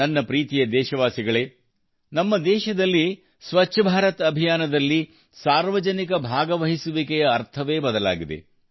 ನನ್ನ ಪ್ರೀತಿಯ ದೇಶವಾಸಿಗಳೇ ನಮ್ಮ ದೇಶದಲ್ಲಿ ಸ್ವಚ್ಛ ಭಾರತ ಅಭಿಯಾನದಲ್ಲಿ ಸಾರ್ವಜನಿಕ ಭಾಗವಹಿಸುವಿಕೆಯ ಅರ್ಥವೇ ಬದಲಾಗಿದೆ